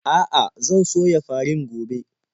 A'a, zan soya farin gobe.